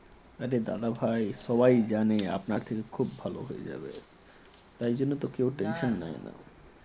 আরে দাদা ভাই সবাই জানে আপনার আপনার থেকে খুব ভালো হয়ে যাবে তার জন্য তো কেউ tension নেয় না।